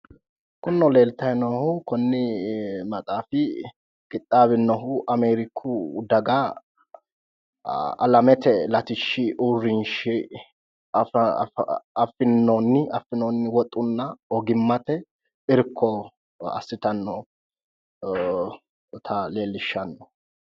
Kunino leelitayi noohu Koni maxaafi qixaawinohu amerku daga alamete latishi urinshi afinooni woxuna ogimate irko asitanota leelishano